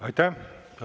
Aitäh!